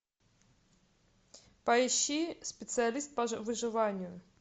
поищи специалист по выживанию